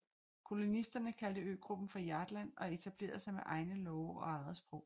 Kolonisterne kaldte øgruppen for Hjaltland og etablerede sig med egne love og eget sprog